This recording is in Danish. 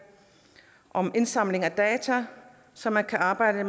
om indsamling af data som man kan arbejde